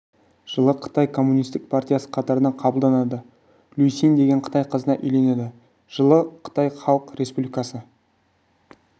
жылы қытай коммунистік партиясы қатарына қабылданады лю син деген қытай қызына үйленеді жылы қытай халық республикасы